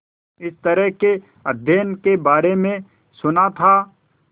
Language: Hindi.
इस तरह के अध्ययन के बारे में सुना था